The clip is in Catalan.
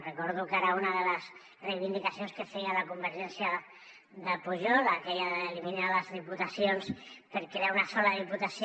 recordo que era una de les reivindicacions que feia la convergència de pujol aquella d’eliminar les diputacions per crear una sola diputació